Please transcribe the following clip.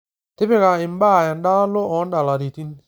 tipika imbaa endalo odalaritin